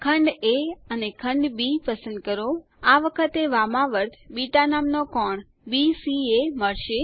ખંડ એ અને ખંડ બી પસંદ કરો આ વખતે વામાવર્ત બીટા નામનો કોણ બીસીએ મળશે